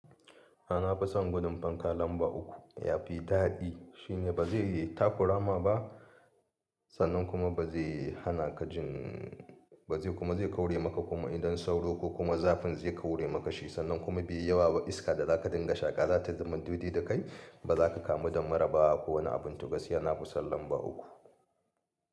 Na fison gudun fanka lamba uku yafi dadi shine bazai takurama ba sannan kuma bazai hanaka jin, bazai kuma zai kaure maka kuma idan sauro ko kuma zafin zai kaure maka shi sannan kuma biyu yawa ba iska da za ka dinga shaka zata zamato dai da kai ba za ka kamu da mura ba ko wani abin. To gaskiya na fi son lamba uku.